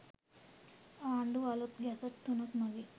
ආණ්ඩුව අලුත් ගැසට් තුනක් මගින්